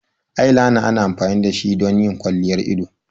Eyeliner ana amfani da shi don yin kwalliyar ido.